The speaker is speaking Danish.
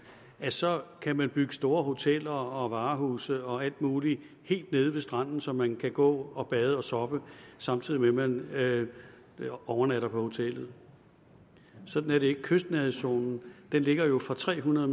så kan bygge store hoteller og varehuse og alt muligt helt nede ved stranden så man kan gå og bade og soppe samtidig med at man overnatter på hotellet sådan er det ikke kystnærhedszonen ligger jo fra tre hundrede